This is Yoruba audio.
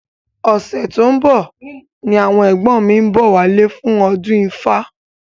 Ọ̀sẹ̀ tó ń bọ̀ ni àwọn ẹ̀gbọ́n mi ń bọ̀ wálé fún ọdún ifá